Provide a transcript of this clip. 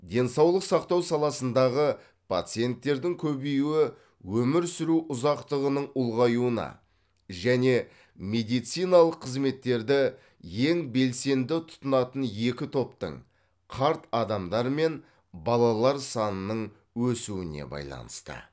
денсаулық сақтау саласындағы пациенттердің көбеюі өмір сүру ұзақтығының ұлғаюына және медициналық қызметтерді ең белсенді тұтынатын екі топтың қарт адамдар мен балалар санының өсуіне байланысты